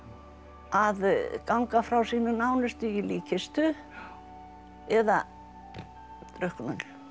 að ganga frá sínum nánustu í líkkistu eða drukknun